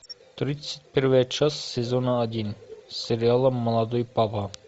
тридцать первая часть сезона один сериала молодой папа